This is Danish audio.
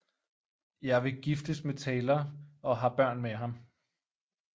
Jeg vil giftes med Taylor og har børn med ham